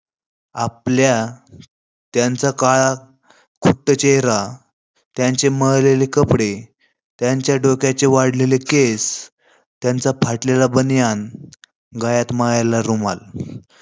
आपल्या त्यांच्या काळाकुट्ट चेहरा, त्याचे मळलेले कपडे, त्याचे डोक्यांचे वाढलेले केस, त्यांचा फाटलेला बनियान, गळ्यात माळ्याला रुमाल